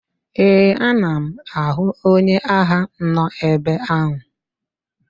Ee, ana m ahụ onye agha nọ ebe ahụ.